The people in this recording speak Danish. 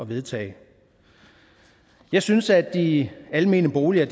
vedtage jeg synes at de almene boliger